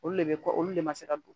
Olu le be kɔ olu de ma se ka don